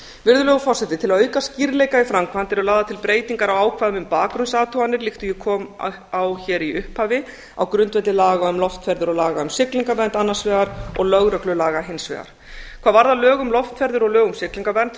virðulegur forseti til að auka skýrleika í framkvæmd eru lagðar til breytingar á ákvæðum um bakgrunnsathuganir líkt og ég kom á hér í upphafi á grundvelli laga um loftferðir og laga um siglingavernd annars vegar og lögreglulaga hins vegar hvað varðar lög um loftferðir og lög um siglingavernd